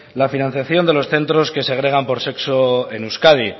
la financiación de los centros que segregan por sexo en euskadi